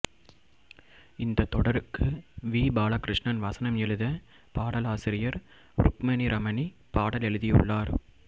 இந்த தொடருக்கு வி பாலகிருஷ்ணன் வசனம் எழுத பாடலாசிரியர் ருக்மணி ரமணி பாடல் எழுதியுள்ளார்